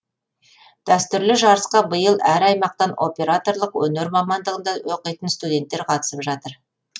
дәстүрлі жарысқа биыл әр аймақтан операторлық өнер мамандығында оқитын студенттер қатысып жатыр